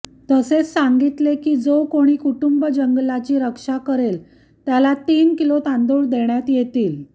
तसेच सांगितले की जो कोणी कुटूंब जंगलाची रक्षा करेल त्याला तीन किलो तांदूळ देण्यात येतील